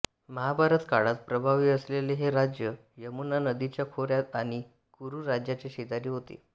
महाभारत काळात प्रभावी असलेले हे राज्य यमुना नदीच्या खोऱ्यात आणि कुरू राज्याच्या शेजारी होते